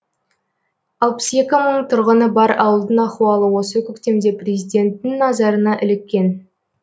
алпыс екі мың тұрғыны бар ауылдың ахуалы осы көктемде президенттің назарына іліккен